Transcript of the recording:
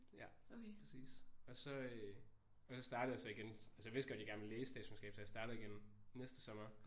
Ja præcis og så øh og så startede jeg så igen altså jeg vidste godt jeg gerne ville læse statskundskab så jeg startede igen næste sommer